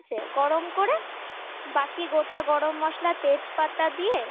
ঠিক আছে গরম করে বাকি গোটা গরম মসলা তেজ পাতা দিয়ে